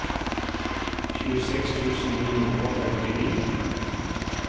tjueseks tusen ni hundre og femtini